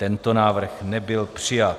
Tento návrh nebyl přijat.